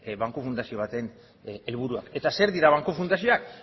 banku fundazio baten helburuak eta zer dira banku fundazioak